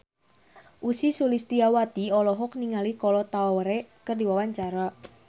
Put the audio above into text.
Ussy Sulistyawati olohok ningali Kolo Taure keur diwawancara